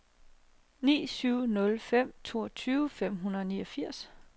ni syv nul fem toogtyve fem hundrede og niogfirs